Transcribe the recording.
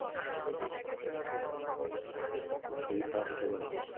খুব শরীর খারাপ হতে পারে